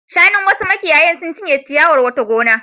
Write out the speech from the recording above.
Shanun wasu makiyaya sun cinye ciyawar wata gona.